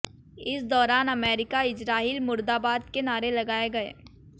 इस दौरान America Israel मुर्दाबाद के नारे लगाए गये